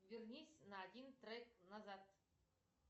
вернись на один трек назад